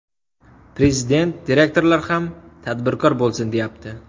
Prezident direktorlar ham tadbirkor bo‘lsin, deyapti.